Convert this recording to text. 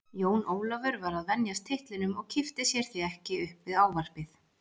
Jón Ólafur var að venjast titlinum og kippti sér því ekki upp við ávarpið.